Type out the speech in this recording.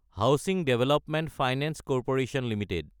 housing development finance corporation Ltd